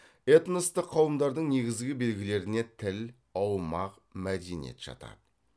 этностық қауымдардың негізгі белгілеріне тіл аумақ мәдениет жатады